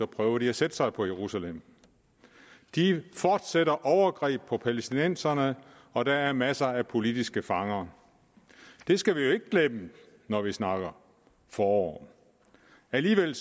prøver de at sætte sig på jerusalem de fortsætter overgreb på palæstinenserne og der er masser af politiske fanger det skal vi jo ikke glemme når vi snakker om forår alligevel